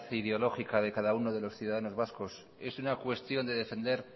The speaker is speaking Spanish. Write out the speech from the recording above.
ideológica de cada uno de los ciudadanos vascos es una cuestión de defender